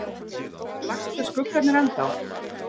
Blakta skuggarnir ennþá?